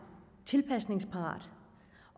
tilpasningsparat